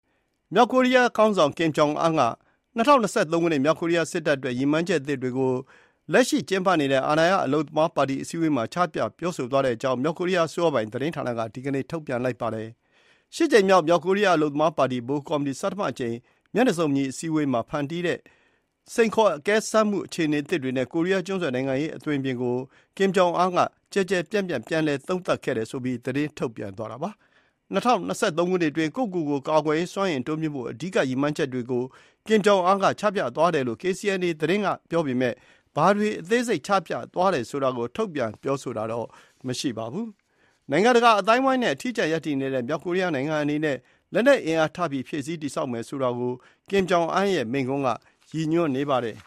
မြောက်ကိုရီးယားခေါင်းဆောင် Kim Jong Un က ၂၀၂၃ ခုနှစ် မြောက်ကိုရီးယား စစ်တပ်အတွက် ရည်မှန်းချက်အသစ်တွေကို လက်ရှိကျင်းပနေတဲ့ အာဏာရ အလုပ်သမားပါတီအစည်းအဝေးမှာ ချပြပြောဆိုသွားတဲ့အကြောင်း မြောက်ကိုရီးယားအစိုးရပိုင် သတင်းဌာနက ဒီနေ့ ထုတ်ပြန်ပါတယ်။ ၈ ကြိမ်မြောက် မြောက်ကိုရီးယား အလုပ်သမားပါတီ ဗဟိုကော်မတီ ဆဌမအကြိမ် မျက်နှာစုံညီ အစည်းအဝေးမှာ ဖန်တီးတဲ့ စိန်ခေါ်အကဲစမ်းမှု အခြေအနေသစ်တွေနဲ့ ကိုရီးယားကျွန်းဆွယ် နိုင်ငံရေးအသွင်အပြင်ကို Kim Jong Un ကျယ်ကျယ်ပြန့်ပြန့် ပြန် သုံးသပ်ခဲ့တယ်ဆိုပြီး သတင်းထုတ်ပြန်သွားတာပါ။ ၂၀၂၃ ခုနှစ်အတွင်း ကိုယ့်ကိုကိုယ် ကာကွယ်ရေးစွမ်းအင်တိုးမြှင့်ဖို့ အဓိက ရည်မှန်းချက်တွေကို Kim Jong Un က ချပြသွားယ်လို့ KCNA သတင်းဌာနက ပြောပေမဲ့ ဘာတွေ အသေးစိတ်ချပြသွားတယ်ဆိုတာကို ထုတ်ပြန်ပြောဆိုတာ မရှိပါဘူး။ နိုင်ငံတကာအသိုင်းအဝိုင်းနဲ့ အထီးကျန်ရပ်တည်နေတဲ့ မြောက်ကိုရီးယားနိုင်ငံအနေနဲ့ လက်နက် အင်အား ထပ်ပြီးဖြည့်ဆည်းတည်ဆောက်မယ်ဆိုတာကို Kim Jong Un ရဲ့မိန့်ခွန်းက ရည်ညွန်းနေပါတယ်